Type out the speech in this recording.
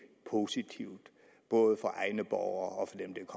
positivt både for egne borgere